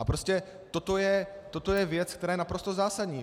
A prostě toto je věc, která je naprosto zásadní.